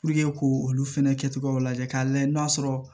ko olu fɛnɛ kɛcogow lajɛ k'a lajɛ n'a sɔrɔ